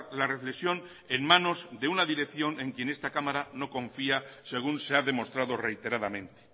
la reflexión en manos de una dirección en quien esta cámara no confía según se ha demostrado reiteradamente